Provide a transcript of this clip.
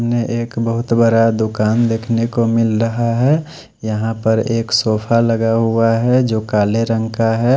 सामने एक बहुत बड़ा दुकान देख ने को मिल रहा है यहाँ पे एक सोफा लगा हुआ है जो काले रंग का है।